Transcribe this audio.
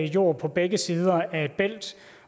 jord på begge sider af et bælt